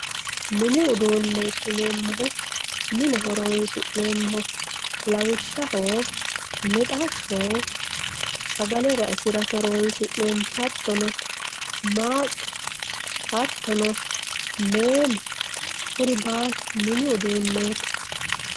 mini uduunneeti yineemmohu mine horonsi'neemmoho lawishshaho mixashsho sagale raisirate horonsi'neemmo, hattono maaqqe, hattono meemo kuri baalu mini uduunneeti.